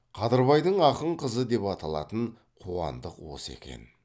қадырбайдың ақын қызы деп аталатын қуандық осы екен